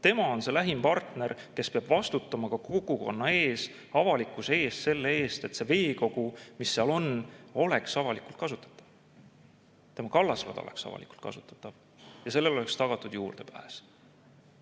Tema on see lähim partner, kes peab vastutama ka kogukonna ees, avalikkuse ees selle eest, et see veekogu, mis seal on, oleks avalikult kasutatav, et see kallasrada oleks avalikult kasutatav ja sellele oleks tagatud juurdepääs.